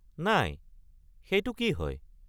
নাই, সেইটো কি হয়?